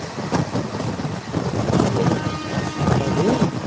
ਚਲੋ ਆਗਏ ਹੁਣ